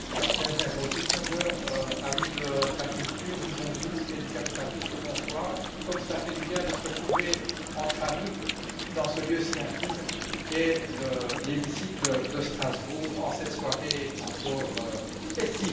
Monsieur le Président, amis de la culture, du bon goût et du capital risque, bonsoir. Comme cela fait du bien de se retrouver entre amis dans ce lieu si intime qu'est l'hémicycle de Strasbourg en cette soirée encore estivale.